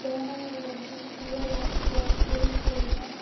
beeraha ee dugsiyada iyo kulliyadaha.